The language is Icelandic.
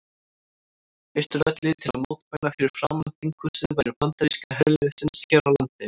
Austurvelli til að mótmæla fyrir framan þinghúsið veru bandaríska herliðsins hér á landi.